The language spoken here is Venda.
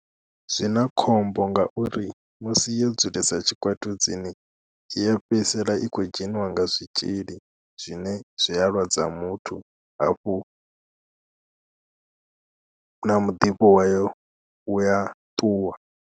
Zwi na khombo ngauri musi yo dzulesa tshikwatudzini i ya fhedzisela i khou dzheniwa nga zwitzhili zwine zwi a lwadza muthu hafhu na muḓifho wayo u ya ṱuwa.